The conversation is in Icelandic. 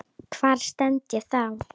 Hvar stend ég þá?